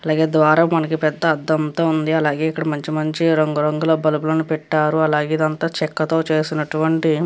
అలాగే ద్వారం లో పేద అద్దంతో ఉనది. అలాగే ఇక్కడ మంచి మంచి రంగులతో కలిగి ఉనది. మొత్తమ్ అంత చెక్కతో చేసినటువంటి --